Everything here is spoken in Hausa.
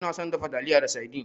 Ina son dafa taliyana da saidin.